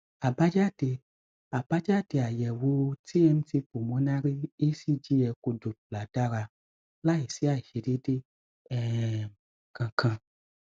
àbájáde àbájáde àyẹwò tmt pulmonary ecg echo doppler dára láìsí àìṣedééde um kankan